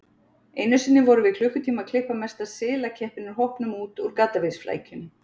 Einu sinni vorum við klukkutíma að klippa mesta silakeppinn í hópnum út úr gaddavírsflækjunni.